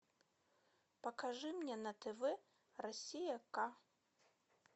покажи мне на тв россия к